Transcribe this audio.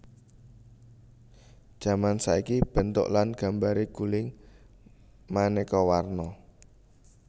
Jaman saiki bentuk lan gambaré guling manéka warna